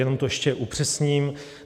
Jenom to ještě upřesním.